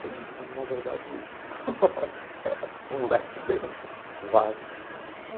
Tem, na verdade, um leque bem vasto. Mas,